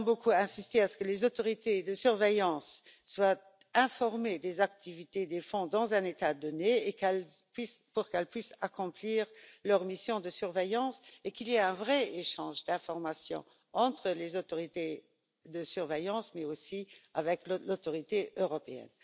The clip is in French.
Nous avons beaucoup insisté pour que les autorités de surveillance soient informées des activités des fonds dans un État donné afin qu'elles puissent accomplir leur mission de surveillance et pour qu'il y ait un véritable échange d'informations entre les autorités de surveillance, mais aussi avec l'Autorité européenne.